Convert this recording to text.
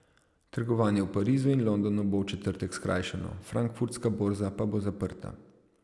Trgovanje v Parizu in Londonu bo v četrtek skrajšano, frankfurtska borza pa bo zaprta.